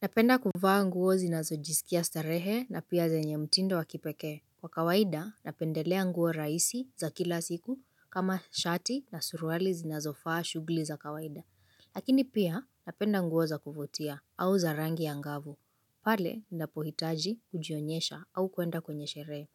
Napenda kuvaa nguo zinazojisikia starehe na pia zenye mtindo wakipekee. Kwa kawaida, napendelea nguo rahisi za kila siku kama shati na suruali zinazofaa shughli za kawaida. Lakini pia, napenda nguo za kuvutia au za rangi ya ngavu. Pale, ninapohitaji kujionyesha au kuenda kwenye sherehe.